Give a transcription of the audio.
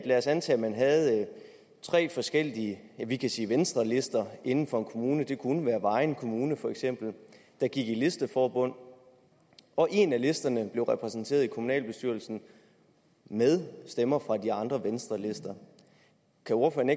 lad os antage at man havde tre forskellige vi kan sige venstrelister inden for en kommune det kunne være vejen kommune for eksempel der gik i listeforbund og en af listerne blev repræsenteret i kommunalbestyrelsen med stemmer fra de andre venstrelister kan ordføreren